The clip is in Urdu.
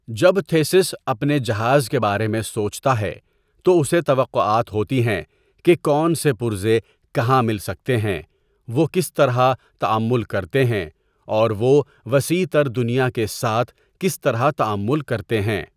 جب تھیسیس اپنے جہاز کے بارے میں سوچتا ہے، تو اسے توقعات ہوتی ہیں کہ کون سے پرزے کہاں مل سکتے ہیں، وہ کس طرح تعامل کرتے ہیں، اور وہ وسیع تر دنیا کے ساتھ کس طرح تعامل کرتے ہیں۔